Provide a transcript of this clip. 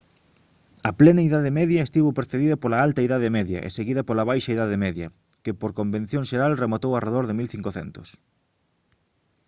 a plena idade media estivo precedida pola alta idade media e seguida pola baixa idade media que por convención xeral rematou arredor 1500